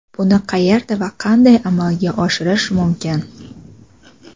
Buni qayerda va qanday amalga oshirish mumkin?.